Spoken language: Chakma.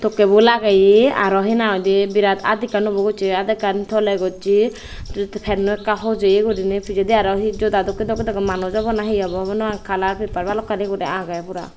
tokay bo lagiya aro he na hoi day berat art ekkan obo gossy art akken tola gossy panno aka hojaya guri ney pejadi joda dokkey dokkey manus obo na he obo hobor nopagor kalar paper balokani guri agey pora.